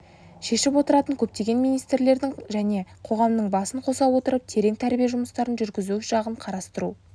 шешіп отыратын көптеген министрліктердің және қоғамның басын қоса отырып терең тәрбие жұмыстарын жүргізу жағын қарастыру